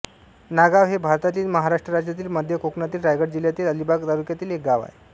नागाव हे भारतातील महाराष्ट्र राज्यातील मध्य कोकणातील रायगड जिल्ह्यातील अलिबाग तालुक्यातील एक गाव आहे